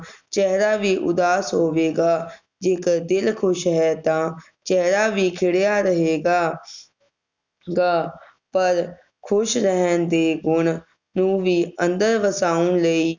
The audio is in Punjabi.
ਚੇਹਰਾ ਵੀ ਉਦਾਸ ਹੋਵੇਗਾ ਜੇਕਰ ਦਿਲ ਖੁਸ਼ ਹੈ ਤਾ ਚੇਹਰਾ ਵੀ ਖਿੜ੍ਹਿਆਂ ਰਹੇਗਾ ਗਾ ਪਰ ਖੁਸ਼ ਰਹਿਣ ਦੇ ਗੁਣ ਨੂੰ ਵੀ ਅੰਦਰ ਵਸਾਉਣ ਲਈ